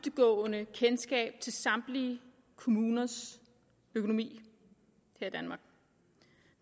dybtgående kendskab til samtlige kommuners økonomi her